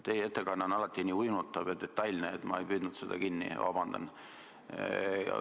Teie ettekanne aga oli nagu alati nii uinutav ja detailne, et ma ei püüdnud seda kinni – vabandust!